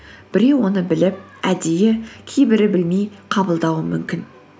біреу оны біліп әдейі кейбірі білмей қабылдауы мүмкін